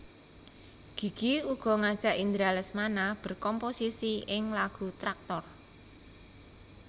Gigi uga ngajak Indra Lesmana berkomposisi ing lagu Tractor